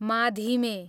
माधिमे